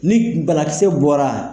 Ni balakisɛ bɔra.